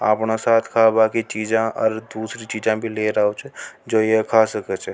अपना साथ की कई चीजे और दुसरी चीजे लेर आव छ जो ये खा सक छ।